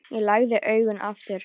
Ég lagði augun aftur.